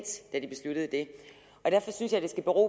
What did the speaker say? da de besluttede det derfor synes jeg det skal bero